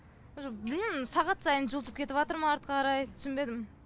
уже білмейімін сағат сайын жылжып кетіватыр ма артқа қарай түсінбедім